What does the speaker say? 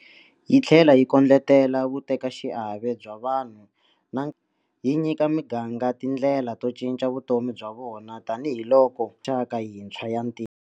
Yi tlhela yi kondletela vutekaxiave bya vanhu na yi nyika miganga tindlela to cinca vutomi bya vona tanihiloko mixaka yintshwa ya ntirho.